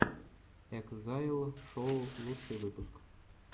экзайл шоу лучший выпуск